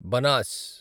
Banas